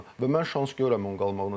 Və mən şans görəyə qalım qalmağına.